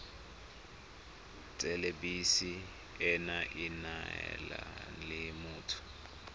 thelebi ene e neela motho